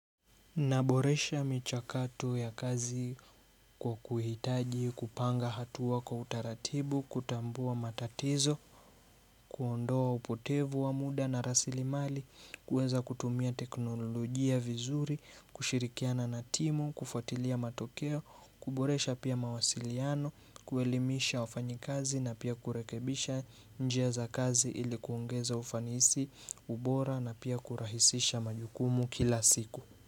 Naboresha michakato ya kazi kwa kuhitaji, kupanga hatua kwa utaratibu, kutambua matatizo, kuondoa upotevu wa muda na rasilimali, kuweza kutumia teknolojia vizuri, kushirikiana na timu, kufuatilia matokeo, kuboresha pia mawasiliano, kuelimisha ufanyikazi na pia kurekebisha njia za kazi ili kuongeza ufanisi, ubora na pia kurahisisha majukumu kila siku.